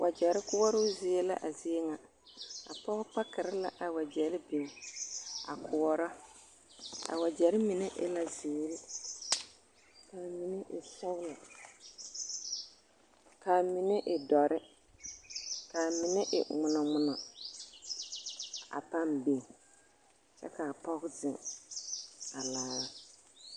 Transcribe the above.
Wagyɛre koɔroo zie la a zie ŋa, a pɔge pakerɛ la a wagyɛre biŋ a koɔrɔ, a wagyɛre mine e la zeere k'a mine e sɔgelɔ k'a mine e dɔre k'a mine e ŋmonɔ ŋmonɔ a pãã biŋ kyɛ k'a pɔge zeŋ a laara.